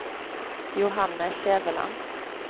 Johanne Skjæveland